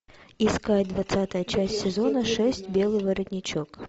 искать двадцатая часть сезона шесть белый воротничок